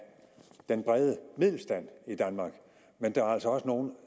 den brede middelstand i danmark men der er altså også nogle